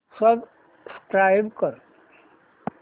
subscribe कर